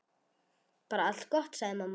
Bara allt gott, sagði mamma.